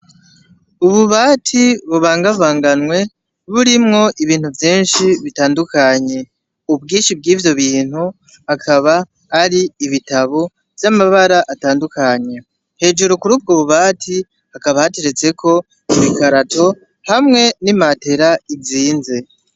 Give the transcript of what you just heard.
Ububati bubangabanganwe, burimwo ibintu vyinshi bitandukanye. Ubwinshi bw'ivyo bintu, akaba ari ibitabo vy'amabara atandukanye. Hejuru kuri ubwo bubati, hakaba hateretseko ibikarato, hamwe n'imatera izinze.